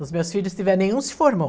Os meus filhos, se tiver nenhum, se formou.